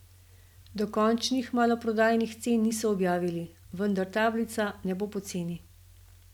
Dokončnih maloprodajnih cen niso objavili, vendar tablica ne bo poceni.